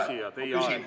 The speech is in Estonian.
Hea küsija, teie aeg!